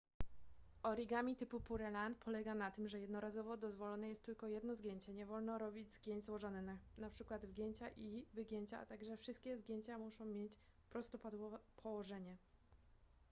origami typu pureland polega na tym że jednorazowo dozwolone jest tylko jedno zgięcie nie wolno robić zgięć złożonych np wgięcia i wygięcia a także wszystkie zgięcia muszą mieć prostopadłe położenie